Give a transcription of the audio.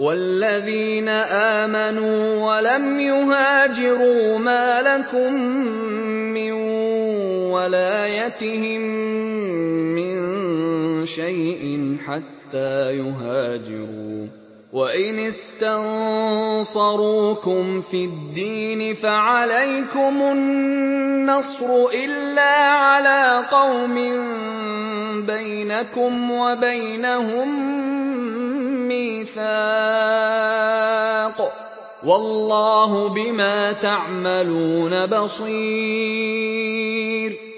وَالَّذِينَ آمَنُوا وَلَمْ يُهَاجِرُوا مَا لَكُم مِّن وَلَايَتِهِم مِّن شَيْءٍ حَتَّىٰ يُهَاجِرُوا ۚ وَإِنِ اسْتَنصَرُوكُمْ فِي الدِّينِ فَعَلَيْكُمُ النَّصْرُ إِلَّا عَلَىٰ قَوْمٍ بَيْنَكُمْ وَبَيْنَهُم مِّيثَاقٌ ۗ وَاللَّهُ بِمَا تَعْمَلُونَ بَصِيرٌ